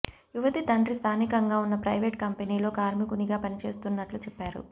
యువతి తండ్రి స్థానికంగా ఉన్న ప్రైవేటు కంపెనీలో కార్మికునిగా పనిచేస్తున్నట్లు చెప్పారు